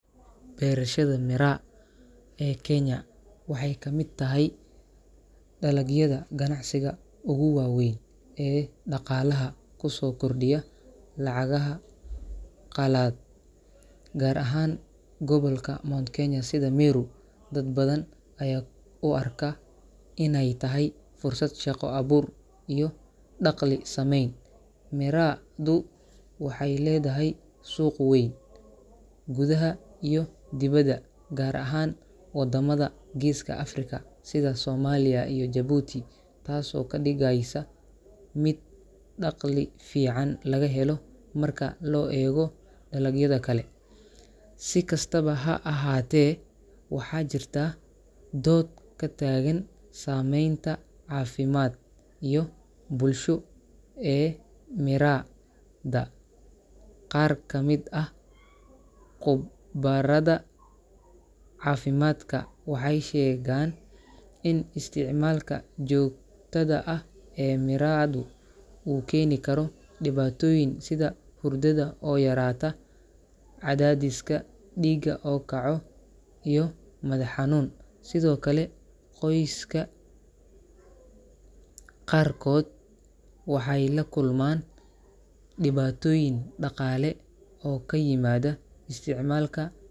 Beerashada miirka ee dalka Kenya waxay ka mid tahay dalagyada ganacsiga ugu waaweyn ee dhaqaalaha dalka ku soo kordhiya. Miirku si gaar ah ayuu muhiim ugu yahay gobolka Mount Kenya, gaar ahaan deegaanka Meru, halkaas oo dad badan u arkaan miirka inuu yahay fursad shaqo-abuur iyo il dhaqaale oo muhiim ah. Miirka wuxuu leeyahay suuq weyn gudaha dalka Kenya iyo dibadda, gaar ahaan waddamada Geeska Afrika sida Soomaaliya iyo Jabuuti. Arrintan waxay ka dhigeysaa miirka mid laga heli karo dhaqaale wanaagsan marka loo eego dalagyada kale. Si kastaba ha ahaatee, waxaa taagan dood la xiriirta saamaynta caafimaad iyo tan bulsho ee uu miirku leeyahay. Qaar ka mid ah khubarada caafimaadka waxay sheegaan in isticmaalka joogtada ah ee miirka uu keeni karo dhibaatooyin caafimaad sida hurdada oo yaraata, cadaadiska dhiigga oo kaco, madax-xanuun joogto ah, iyo weliba dhibaatooyin xagga cilminafsiga ah. Sidoo kale, qoysas qaarkood waxay la kulmaan dhibaatooyin dhaqaale oo ka dhasha isticmaalka miirka, taas oo keeni karta muran iyo kala-tag bulsho iyo qoysyo.